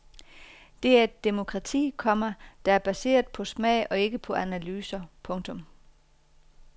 Det er et demokrati, komma der er baseret på smag og ikke på analyser. punktum